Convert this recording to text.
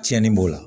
Tiɲɛni b'o la